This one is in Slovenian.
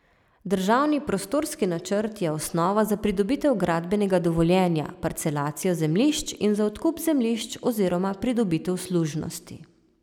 Državni prostorski načrt je osnova za pridobitev gradbenega dovoljenja, parcelacijo zemljišč in za odkup zemljišč oziroma pridobitev služnosti.